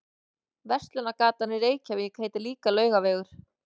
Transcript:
Verslunargatan í Reykjavík heitir líka Laugavegur.